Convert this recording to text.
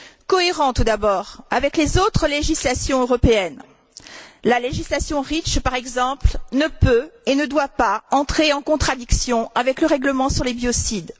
Cohérent, tout d'abord, avec les autres législations européennes. La législation REACH, par exemple, ne peut et ne doit pas entrer en contradiction avec le règlement sur les biocides.